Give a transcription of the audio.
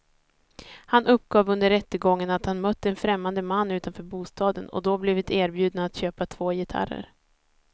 Han uppgav under rättegången att han mött en främmande man utanför bostaden och då blivit erbjuden att köpa två gitarrer.